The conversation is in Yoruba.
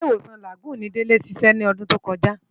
Ilé-Iwósán Lágùn ni Dele siṣè lòdùn tókòjá